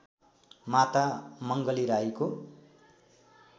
माता मङ्गली राईको